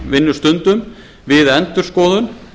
vinnustundum við endurskoðun